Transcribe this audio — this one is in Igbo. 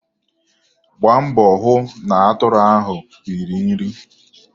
Gbaa mbọ hụ na atụrụ ahụ riri nri.